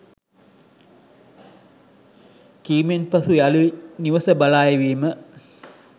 කීමෙන් පසුව යළි නිවස බලා එවීම